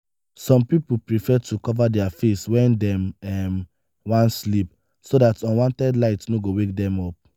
some pipo prefer to cover their face when dem um wan sleep so dat unwanted light no go wake dem up